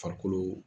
Farikolo